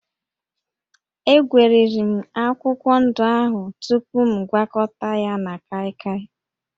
Egweriri m akwụkwọ ndụ ahụ tupu m gwakọta ya na kaịkaị